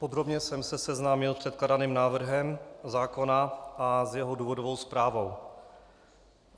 Podrobně jsem se seznámil s předkládaným návrhem zákona a s jeho důvodovou zprávou.